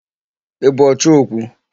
Ị bụ ọchọ okwu?